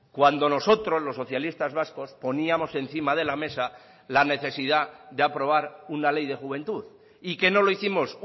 cuando nosotros los socialistas vascos poníamos encima de la mesa la necesidad de aprobar una ley de juventud y que no lo hicimos